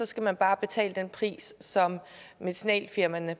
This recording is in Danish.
skal man bare betale den pris som medicinalfirmaerne